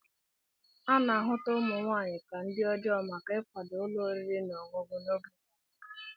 A na-ahụta ụmụ nwaanyị ka ndi ọjọọ maka ịkwado ụlọ oriri na ọṅụṅụ n'oge gara aga.